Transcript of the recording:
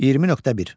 20.1.